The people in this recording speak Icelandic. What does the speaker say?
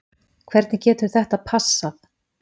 Hvernig getur þetta passað??